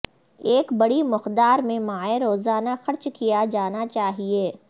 ایک بڑی مقدار میں مائع روزانہ خرچ کیا جانا چاہئے